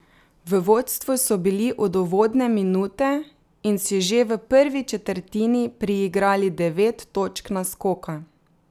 V vodstvu so bili od uvodne minute in si že v prvi četrtini priigrali devet točk naskoka.